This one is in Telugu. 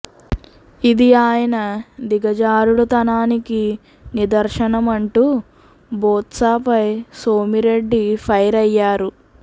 ఇది ఆయన దిగజారుడు తనానికి నిదర్శనమంటూ బొత్సాపై సోమిరెడ్డి ఫైర్ అయ్యారు